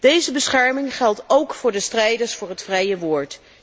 Deze bescherming geldt ook voor de strijders voor het vrije woord.